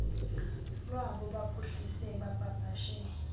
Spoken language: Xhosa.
lwabo baphuhlise bapapashe